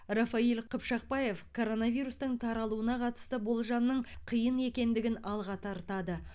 рафаиль қыпшақбаев коронавирустың таралуына қатысты болжамның қиын екендігін алға тартады